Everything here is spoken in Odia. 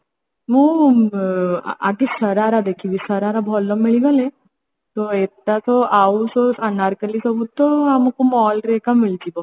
ମୁଁ ଆଁ ଆଗେ ଶରାରା ଦେଖିବି ଶରାରା ଭଲ ମିଳିଗଲେ ତ ଏତକ ଆଉ ସବୁ ଅନାରକଲ୍ଲୀ ସବୁ ତ ଆମକୁ mall ରେ ଏକା ମିଳିଯିବ